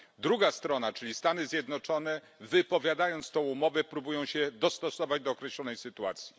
Druga strona, czyli Stany Zjednoczone, wypowiadając tę umowę, próbują się dostosować do określonej sytuacji.